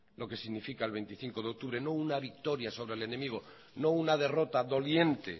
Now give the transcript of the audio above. lo que significa el veinticinco de octubre no una victoria sobre el enemigo no una derrota doliente